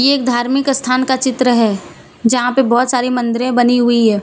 एक धार्मिक स्थान का चित्र है जहां पे बहोत सारी मंदिरें बनी हुई है।